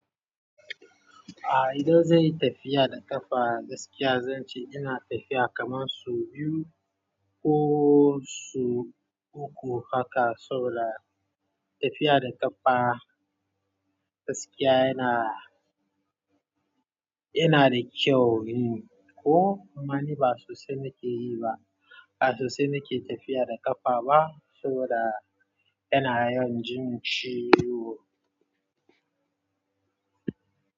A idan zanyi tafiya da ƙafa gaskiya zance ina tafiya kaman su biyu ko sau uku haka saboda tafiya da ƙafa gaskiya yana, yana da kyau ne ko amma ni ba sosai nake yi ba, ba sosai nake tafiya da ƙafa ba saboda yana yin jin ciwo.